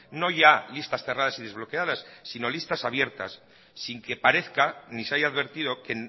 no ya listas cerradas y desbloqueadas sino listas abiertas sin que parezca ni se haya advertido que